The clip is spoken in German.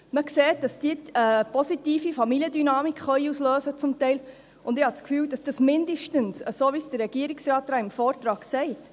Man sieht, dass sie teilweise eine positive Familiendynamik auslösen können, und ich habe das Gefühl, dass das mindestens in diesem Fall gerechtfertigt wäre, so wie es der Regierungsrat im Vortrag sagt.